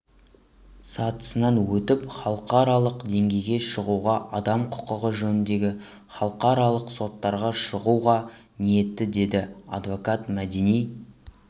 сатысынан өтіп халықаралық деңгейге шығуға адам құқығы жөніндегі халықаралық соттарға шығуға ниетті деді адвокат мәдина